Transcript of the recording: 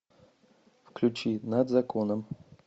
включи над законом